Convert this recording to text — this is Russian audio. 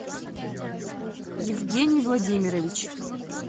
евгений владимирович